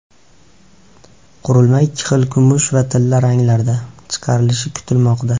Qurilma ikki xil kumush va tilla ranglarda chiqarilishi kutilmoqda.